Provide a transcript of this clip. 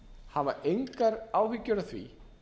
hafa engar áhyggjur af því